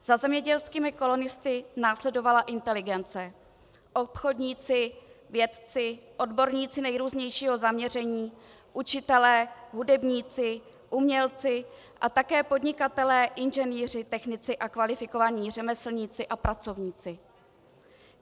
Za zemědělskými kolonisty následovala inteligence, obchodníci, vědci, odborníci nejrůznějšího zaměření, učitelé, hudebníci, umělci a také podnikatelé, inženýři, technici a kvalifikovaní řemeslníci a pracovníci.